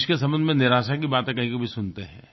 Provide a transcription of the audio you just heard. देश के संबंध में निराशा की बातें कभीकभी सुनते हैं